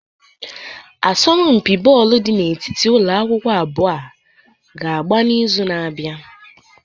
Asọmpi bọọlụ dị n'etiti ụlọ akwụkwọ abụọ a ga-agba n'izu na-abịa.